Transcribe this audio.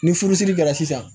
Ni furusiri kɛra sisan